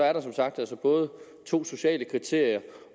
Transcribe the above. er der som sagt både to sociale kriterier